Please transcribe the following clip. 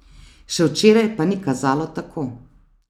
Še včeraj pa ni kazalo tako.